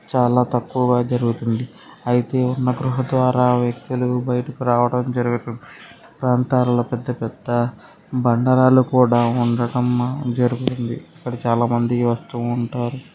చాలా తక్కువగా జరుగుతుంది అయితే ఈ గృహ ద్వారా వ్యక్తులు బయటికి రావడం జరగదు ప్రాంతాల్లో పెద్దపెద్ద బండరాళ్లు కూడా ఉండటం జరిగింది ఇక్కడ చాలా మంది వస్తూ ఉంటారు చాలా తక్కువగా జరుగుతుంది.